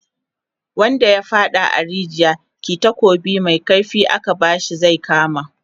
wanda ya faɗa a rijiya, kih takobi Mai kaifi aka bashi zai kama